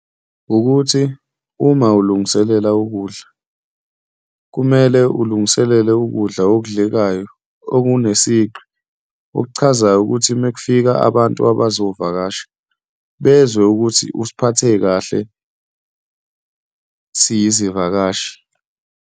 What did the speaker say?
Wukuthi uma ulungiselela ukudla, kumele ulungiselele ukudla okudlekayo okune sigqi, okuchazayo ukuthi uma kufika abantu abazovakasha bezwe ukuthi usiphathe kahle siyizivakashi.